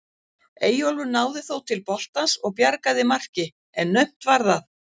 Eyjólfur náði þó til boltans og bjargaði marki en naumt var það.